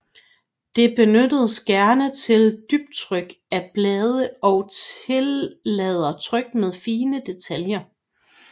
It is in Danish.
Det benyttes gerne til dybtryk af blade og tillader tryk med fine detaljer